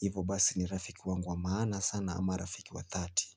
hivo basi ni rafiki wangu wa maana sana ama rafiki wa dhati.